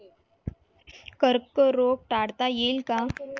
कर्करोग काढता येईल का?